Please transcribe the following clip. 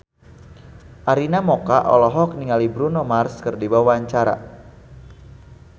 Arina Mocca olohok ningali Bruno Mars keur diwawancara